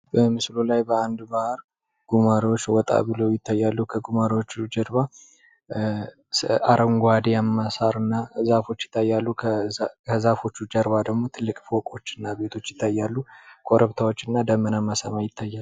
በምስሉ ላይ በአንድ ባህር ጉማሬዎች ወጣ ብለው ይታያሉ። ከጉማሬዎቹ በስተጀርባ አረንጓዴማ ሳርና ዛፎች ይታያሉ። ከዛፎቹ ጀርባ ደግሞ ትልቅ ፎቆችናቤቶች ይታያሉ። ኮረብታዎችና ደመናማ ሰማይ ይታያል።